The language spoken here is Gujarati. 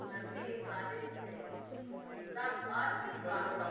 નથી સ્વાદિષ્ટ છે એટલા માસ્ટ સ્વાદિષ્ટ છે.